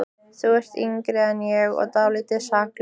Þú ert yngri en ég og dálítið saklaus.